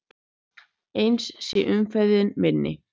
Eins sé umferðin minni.